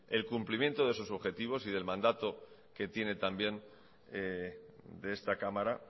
el cumplimiento de sus objetivos y del mandato que tiene también de esta cámara